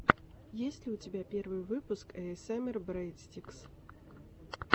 есть ли у тебя первый выпуск эйэсэмэр брэдстикс